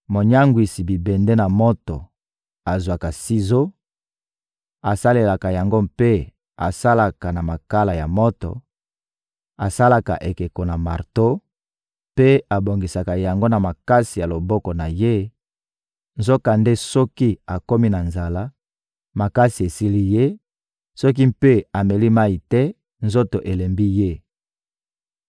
Monyangwisi bibende na moto azwaka sizo, asalelaka yango mpe asalaka na makala ya moto; asalaka ekeko na marto mpe abongisaka yango na makasi ya loboko na ye; nzokande soki akomi na nzala, makasi esili ye; soki mpe ameli mayi te, nzoto elembi ye!